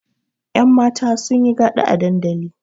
Yanmata sun yi gada a dandali.